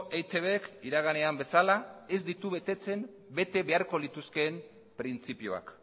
eitbk iraganean bezala ez ditu betetzen bete beharko lituzkeen printzipioak